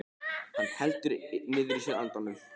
Hann heldur niðri í sér andanum.